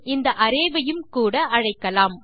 இந்த அரே வையும் கூட அழைக்கலாம்